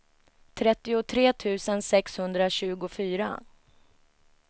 trettiotre tusen sexhundratjugofyra